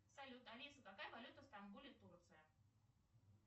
салют алиса какая валюта в стамбуле турция